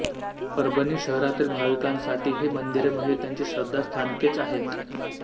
परभणी शहरातील भाविकांसाठी ही मंदिरे म्हणजे त्यांची श्रद्धास्थानकेच आहेत